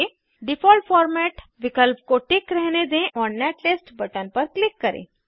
default format विकल्प को tick रहने दें और नेटलिस्ट बटन पर क्लिक करें